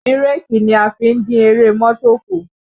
Bírèkì ni a fi ń dín eré mọ́tò kù